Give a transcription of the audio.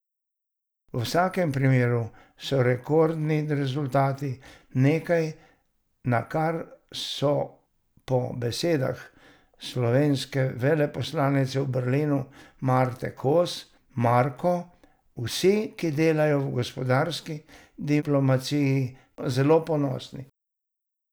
V vsakem primeru so rekordni rezultati nekaj, na kar so po besedah slovenske veleposlanice v Berlinu Marte Kos Marko vsi, ki delajo v gospodarski diplomaciji, zelo ponosni.